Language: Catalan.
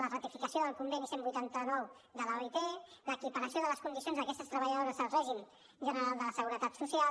la ratificació del conveni cent i vuitanta nou de l’oit l’equiparació de les condicions d’aquestes treballadores al règim general de la seguretat social